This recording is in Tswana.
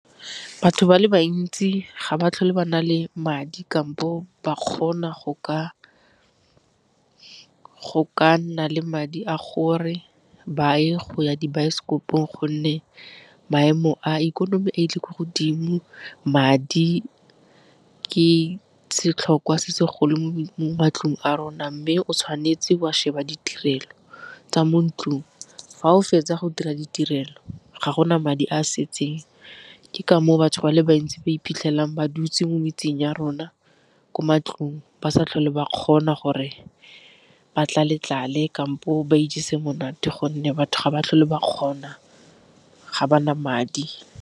Batho ba le bantsi ga ba tlhole ba na le madi kampo ba kgona go ka nna le madi a gore ba ye go ya dibaesekopong gonne maemo a ikonomi a ile ko godimo, madi ke setlhokwa se segolo mo matlong a rona mme o tshwanetse wa sheba ditirelo tsa mo ntlong fa o fetsa go dira ditirelo ga gona madi a setseng. Ke ka moo batho ba le ntsi ba iphitlhelang ba dutse mo metseng ya rona ko matlong ba sa tlhole ba kgona gore ba tlale tlale kampo ba ijese monate gonne batho ga ba tlhole ba kgona ga ba na madi.